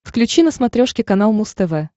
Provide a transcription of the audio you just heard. включи на смотрешке канал муз тв